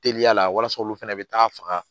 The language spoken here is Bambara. Teliya la walasa olu fɛnɛ be taa faga